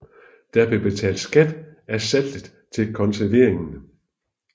Der blev betalt skat af saltet til konserveringen